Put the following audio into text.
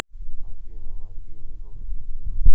афина мозги миддл фингер